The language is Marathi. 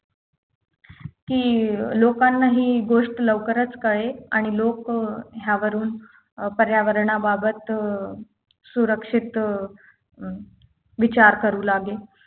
कि अं लोकांना ही गोष्ट लवकरच कळेल आणि लोक अं ह्यावरून अं पर्यावरणाबाबत अं सुरक्षित अं विचार करू लागेल